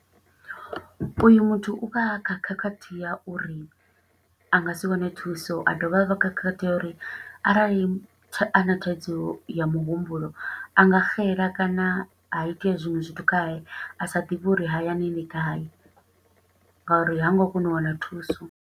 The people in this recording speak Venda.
U yu muthu u vha a kha khakhathi ya uri a nga si wane thuso, a dovha a vha khakhathi ya uri, arali a na thaidzo ya muhumbulo anga xela, kana ha itea zwiṅwe zwithu khae, a sa ḓivhe uri hayani ndi gai, nga uri ha ngo kona u wana thuso.